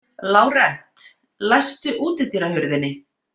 Lárent, læstu útidyrahurðinni.